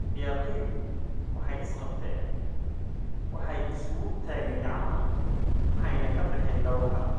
Ciyaartoydu waxay isqabteen, waxay isugu tageen gacmaha, waxayna ka baxeen garoonka.